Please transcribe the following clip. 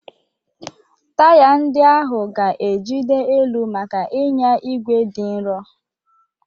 Taya ndị ahụ ga-ejide elu maka ịnya igwe dị nro.